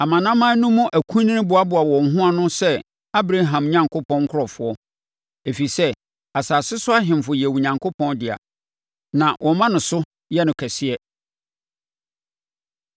Amanaman no mu akunini boaboa wɔn ho ano sɛ Abraham Onyankopɔn nkurɔfoɔ, ɛfiri sɛ asase so ahemfo yɛ Onyankopɔn dea; na wɔma no so yɛ no kɛseɛ.